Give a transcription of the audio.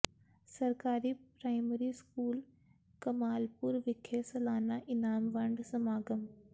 ਸਰਕਾਰੀ primary school Kamalpur ਵਿਖੇ ਸਾਲਾਨਾ ਇਨਾਮ ਵੰਡ ਸਮਾਗਮ